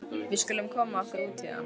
Við skulum koma okkur út héðan.